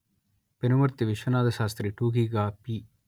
పెనుమర్తి విశ్వనాథశాస్త్రి టూకీగా పి